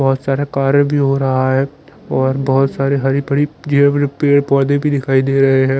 बोहोत सारे कारे भी हो रहा है और बोहोत साड़ी हरी भरी जिया भरी पेड़ पोधे भी दिखाई दे रहे है।